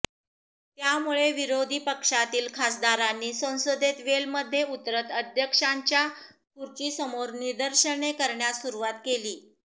त्यामुळे विरोधी पक्षातील खासदारांनी संसदेत वेलमध्ये उतरत अध्यक्षांच्या खुर्चीसमोर निदर्शनं करण्यास सुरूवात केली